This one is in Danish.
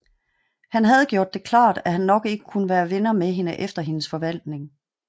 Han havde gjort det klart at han nok ikke kunne være venner med hende efter hendes forvandling